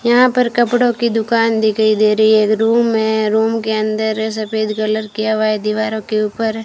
यहां पर कपड़ों की दुकान दिखाई दे रही है रूम है रूम के अंदर सफेद कलर किया हुआ है दीवारों के ऊपर --